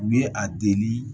U ye a deli